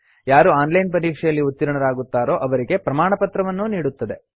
ಯಾರು online ಪರೀಕ್ಷೆಯಲ್ಲಿ ಉತ್ತೀರ್ಣರಾಗುತ್ತಾರೋ ಅವರಿಗೆ ಪ್ರಮಾಣಪತ್ರವನ್ನೂ ನೀಡುತ್ತದೆ